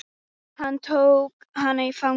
Hann tók hana í fangið.